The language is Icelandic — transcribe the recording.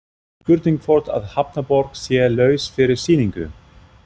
Spurning hvort að Hafnarborg sé laus fyrir sýningu?